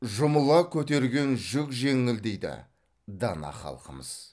жұмыла көтерген жүк жеңіл дейді дана халқымыз